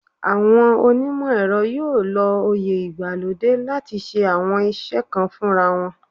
Àwọn onímọ̀ ẹ̀rọ yóò lo òye ìgbàlódé láti ṣe àwọn iṣẹ́ kan fúnra wọn